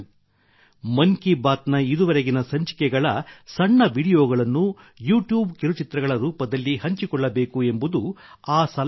ಮನ್ ಕಿ ಬಾತ್ ನ ಇದುವರೆಗಿನ ಸಂಚಿಕೆಗಳ ಸಣ್ಣ ವೀಡಿಯೊಗಳನ್ನು ಯೂಟ್ಯೂಬ್ ಕಿರುಚಿತ್ರಗಳ ರೂಪದಲ್ಲಿ ಹಂಚಿಕೊಳ್ಳಬೇಕು ಎಂಬುದು ಸಲಹೆಯಾಗಿತ್ತು